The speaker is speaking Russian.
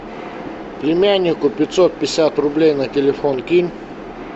племяннику пятьсот пятьдесят рублей на телефон кинь